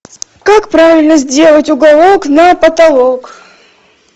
как правильно сделать уголок на потолок